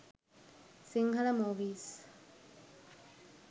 sinhala movies